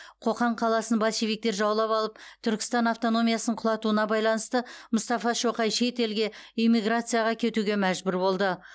қоқан қаласын большевиктер жаулап алып түркістан автономиясын құлатуына байланысты мұстафа шоқай шет елге эмиграцияға кетуге мәжбүр болды